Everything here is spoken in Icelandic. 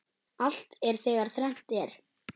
Allt er þegar þrennt er.